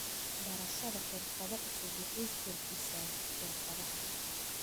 Barashada xirfado cusub waxay kordhisaa xirfadaha.